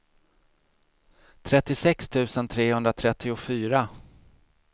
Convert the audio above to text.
trettiosex tusen trehundratrettiofyra